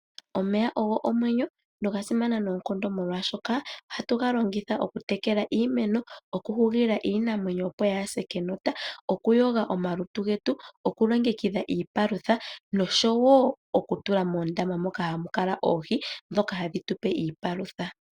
Omeya ogo omwenyo, noga simana noonkondo molwashoka ohatu ga longitha okutekela iimeno, okuhugila iinamwenyo opo yaa se kenota, okuyoga omalutu getu, okulongekidha iipalutha, nosho wo okutula moondama moka hamu kala oohi ndhoka hadhi tu pe iipalutha.